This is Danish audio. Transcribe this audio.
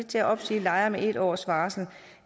til at opsige lejere med en års varsel